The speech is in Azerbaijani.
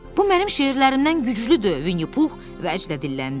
Bu mənim şeirlərimdən güclüdür Vini Pux vəcdə dilləndi.